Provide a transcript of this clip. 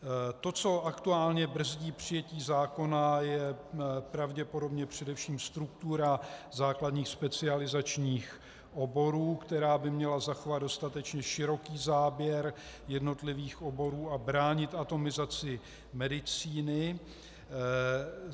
To, co aktuálně brzdí přijetí zákona, je pravděpodobně především struktura základních specializačních oborů, která by měla zachovat dostatečně široký záběr jednotlivých oborů a bránit atomizaci medicíny.